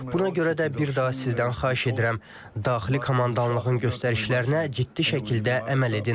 Buna görə də bir daha sizdən xahiş edirəm, daxili komandanlığın göstərişlərinə ciddi şəkildə əməl edin.